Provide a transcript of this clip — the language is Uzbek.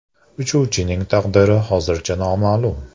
Uchuvchining taqdiri hozircha noma’lum.